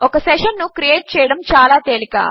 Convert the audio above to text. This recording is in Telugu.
ఒక సెషన్ ను క్రియేట్ చేయడము చాలా తేలిక